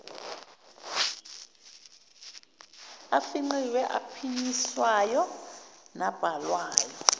afingqiwe aphinyiswayo nabhalwayo